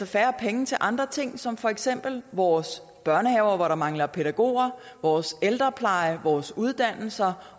færre penge til andre ting som for eksempel vores børnehaver hvor der mangler pædagoger vores ældrepleje vores uddannelser